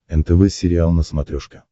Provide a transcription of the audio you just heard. нтв сериал на смотрешке